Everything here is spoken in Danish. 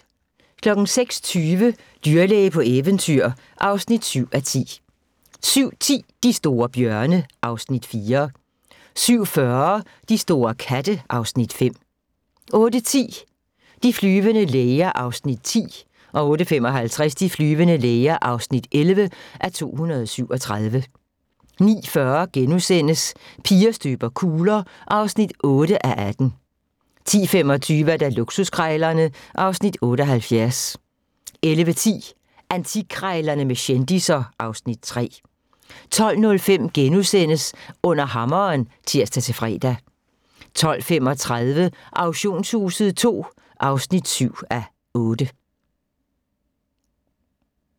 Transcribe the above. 06:20: Dyrlæge på eventyr (7:10) 07:10: De store bjørne (Afs. 4) 07:40: De store katte (Afs. 5) 08:10: De flyvende læger (10:237) 08:55: De flyvende læger (11:237) 09:40: Piger støber kugler (8:18)* 10:25: Luksuskrejlerne (Afs. 78) 11:10: Antikkrejlerne med kendisser (Afs. 3) 12:05: Under hammeren *(tir-fre) 12:35: Auktionshuset II (7:8)